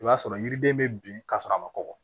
I b'a sɔrɔ yiriden bɛ bin ka sɔrɔ a ma kɔgɔ